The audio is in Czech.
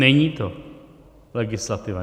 Není to legislativa.